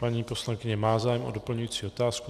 Paní poslankyně má zájem o doplňující otázku.